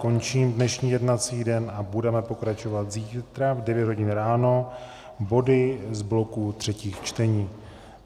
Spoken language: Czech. Končím dnešní jednací den a budeme pokračovat zítra v 9 hodin ráno body z bloku třetích čtení.